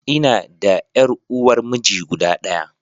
Ina da ƴar uwar miji guda ɗaya.